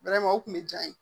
o kun bɛ diya n ye